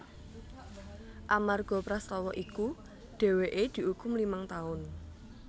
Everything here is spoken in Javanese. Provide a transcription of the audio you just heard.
Amarga prastawa iku dheweke diukum limang taun